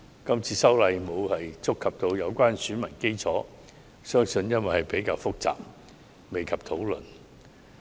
這次修例沒有觸及有關選民基礎，相信是因為這事項較為複雜，未及討論。